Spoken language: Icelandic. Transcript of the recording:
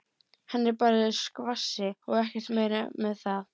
Hann er bara í skvassi og ekkert meira með það.